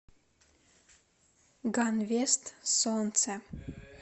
ганвест солнце